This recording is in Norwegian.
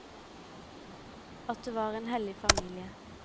At det var en hellig familie.